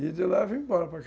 E de lá eu vim embora para cá.